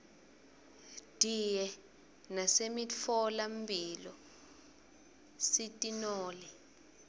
diye nasemitfola mphilo sitinole